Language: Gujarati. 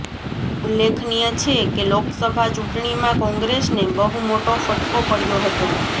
ઉલ્લેખનીય છે કે લોકસભા ચૂંટણીમાં કોંગ્રેસને બહુ મોટો ફટકો પડ્યો હતો